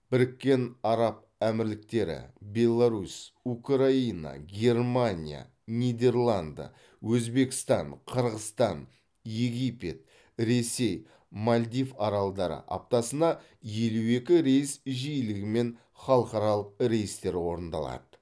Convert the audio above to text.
біріккен араб әмірліктері беларусь украина германия нидерланды өзбекстан қырғызстан египет ресей мальдив аралдары аптасына елу екі рейс жиілігімен халықаралық рейстер орындалады